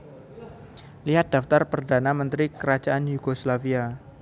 Lihat Daftar Perdana Menteri Kerajaan Yugoslavia